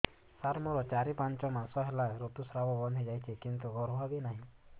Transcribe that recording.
ସାର ମୋର ଚାରି ପାଞ୍ଚ ମାସ ହେଲା ଋତୁସ୍ରାବ ବନ୍ଦ ହେଇଯାଇଛି କିନ୍ତୁ ଗର୍ଭ ବି ନାହିଁ